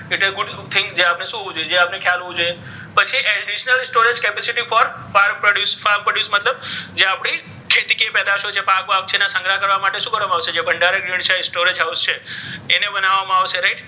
good thing